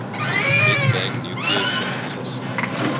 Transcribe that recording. big bang nucleosynthesis